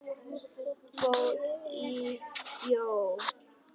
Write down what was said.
Fór í sjó.